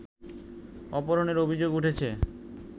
অপহরণের অভিযোগ উঠেছে